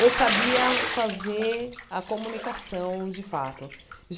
Eu sabia fazer a comunicação de fato.